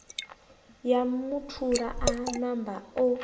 ya muthula a namba o